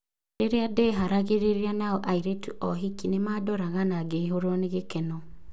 Rĩrĩa ndeharagĩrĩria nao airĩtu a ũhiki nĩmandoraga na ngĩihũrwo nĩ gĩkeno.